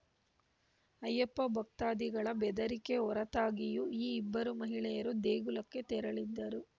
ಅಯ್ಯಪ್ಪ ಭಕ್ತಾದಿಗಳ ಬೆದರಿಕೆ ಹೊರತಾಗಿಯೂ ಈ ಇಬ್ಬರು ಮಹಿಳೆಯರು ದೇಗುಲಕ್ಕೆ ತೆರಳಿದ್ದರು